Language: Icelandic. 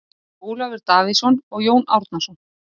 Ólafur Davíðsson og Jón Árnason.